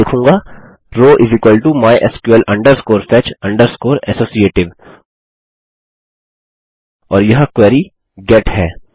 मैं लिखूँगा row mysql fetch associative और यह क्वेरी गेट है